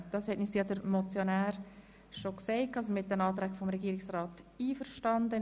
Der Motionär hat uns ja bereits gesagt, er sei mit den Anträgen der Regierung einverstanden.